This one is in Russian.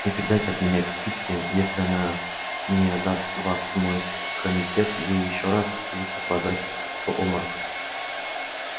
и передайте от меня питти если она не отдаст вас в мой комитет ей ещё не раз придётся падать в обморок